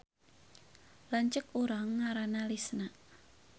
Lanceuk urang ngaranna Lisna